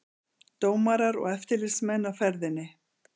Dómarar og eftirlitsmenn á ferðinni